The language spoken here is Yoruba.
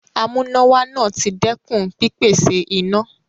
Amúnáwá náà ti dẹ́kun pípèsè iná.